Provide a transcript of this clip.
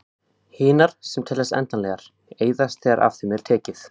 Hinar, sem teljast endanlegar, eyðast þegar af þeim er tekið.